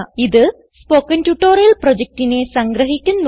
ഇത് spoken tutorial പ്രൊജക്റ്റിനെ സംഗ്രഹിക്കുന്നു